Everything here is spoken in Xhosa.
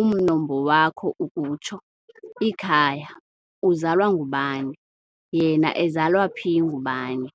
umnombo wakho ukutsho, ikhaya , uzalwa ngubani?, yena ezalwa phi ngubani?